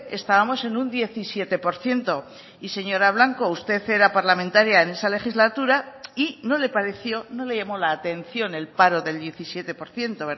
estábamos en un diecisiete por ciento y señora blanco usted era parlamentaria en esa legislatura y no le pareció no le llamó la atención el paro del diecisiete por ciento